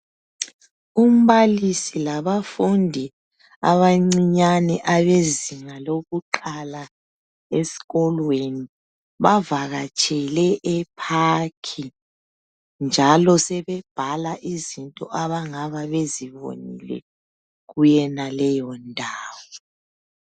Umbalisi labafundi abancinyane abezinga lokuqala esikolweni bavakatshele e park njalo sebebhala izinto abangabe bezibonile kuyonaleyo ndawo.